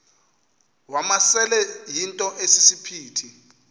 wamasele yinto esisiphithi